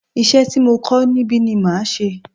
Isẹ́ ti mo kọ́ níbi ni màá máa ṣe